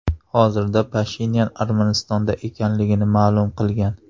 Hozirda Pashinyan Armanistonda ekanligini ma’lum qilgan .